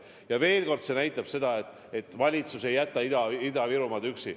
Ja veel kord: see näitab seda, et valitsus ei jäta Ida-Virumaad üksi.